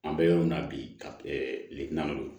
An bɛ yɔrɔ min na bi ka